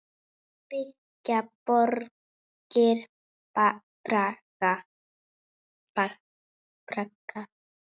Rangt til getið